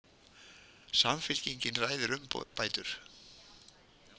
Samfylkingin ræðir umbætur